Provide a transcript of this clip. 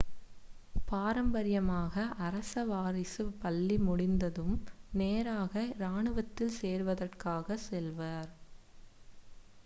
பாரம்பரியமாக அரச வாரிசு பள்ளி முடிந்ததும் நேராக இராணுவத்தில் சேர்வதற்காக செல்வார்